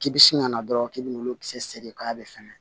K'i bi sin ka na dɔrɔn k'i bɛ n'olu kisɛ segi k'a bɛ fɛŋɛ